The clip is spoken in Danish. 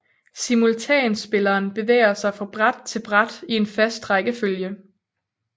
Simultanspilleren bevæger sig fra bræt til bræt i en fast rækkefølge